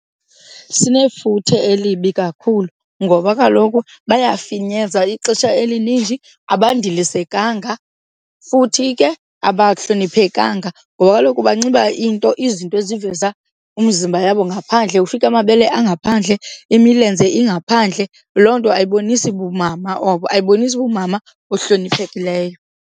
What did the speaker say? Sinefuthe elibi kakhulu ngoba kaloku bayafinyeza ixesha elininji. Abandilisekanga futhi ke abahloniphekanga ngoba kaloku banxiba iinto izinto eziveza umzimba yabo ngaphandle, ufike amabele angaphandle, imilenze ingaphandle. Loo nto ayibonisi bumama obo, ayibonisi bumama buhloniphekileyo.